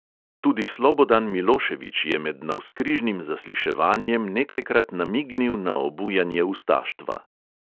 Tudi slobodan milošević je med navzkrižnim zasliševanjem nekajkrat namignil na obujanje ustaštva.